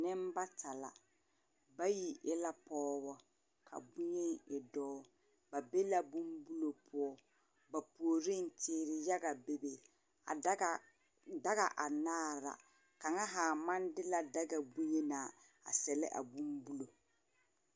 Nembata la. Bayi e la pɔgebɔ, ka boŋyeni e dɔɔ. Ba be bombulo poɔ. Ba puoriŋ teere yaga bebe. A daga anaare ra. Kaŋa haa maŋ de la daga boŋyenaa a sɛlɛ abombulo.